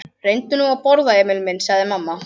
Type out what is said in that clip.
Reyndu nú að borða, Emil minn, sagði mamma.